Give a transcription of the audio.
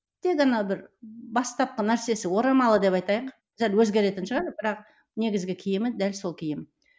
тек ана бір бастапқы нәрсесі орамалы деп айтайық сәл өзгеретін шығар бірақ негізгі киімі дәл сол киім